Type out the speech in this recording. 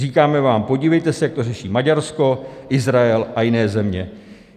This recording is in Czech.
Říkáme vám: podívejte se, jak to řeší Maďarsko, Izrael a jiné země.